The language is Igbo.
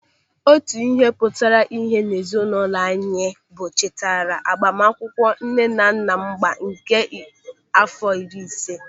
Otu ihe pụtara íhé n'ezinụlọ anyị bụ ncheta agbamakwụkwọ nne na nna m agba nke àfọ iri ise.